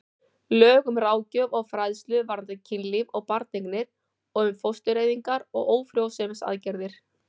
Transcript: Lög um ráðgjöf og fræðslu varðandi kynlíf og barneignir og um fóstureyðingar og ófrjósemisaðgerðir.